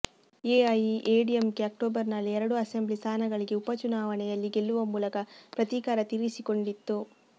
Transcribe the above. ಎಐಎಡಿಎಂಕೆ ಅಕ್ಟೋಬರ್ನಲ್ಲಿ ಎರಡು ಅಸೆಂಬ್ಲಿ ಸ್ಥಾನಗಳಿಗೆ ಉಪಚುನಾವಣೆಯಲ್ಲಿ ಗೆಲ್ಲುವ ಮೂಲಕ ಪ್ರತೀಕಾರ ತೀರಿಸಿಕೊಂಡಿತ್ತು